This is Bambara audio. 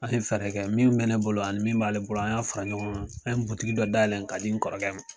An ye fɛɛrɛkɛ min mɛ ne bolo ani mi m'ale bolo, an y'a fara ɲɔgɔn kan, an ye dɔ dayɛlɛ ka di ne kɔrɔkɛ ma.